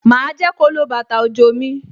Ma jẹ́ kó lo bàtà òjò mi